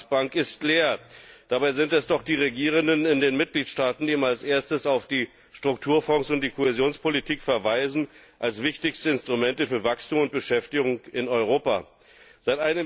Aber die Ratsbank ist leer. Dabei sind es doch die Regierenden in den Mitgliedstaaten, die immer als Erste auf die Strukturfonds und die Kohäsionspolitik als wichtigste Instrumente für Wachstum und Beschäftigung in Europa verweisen.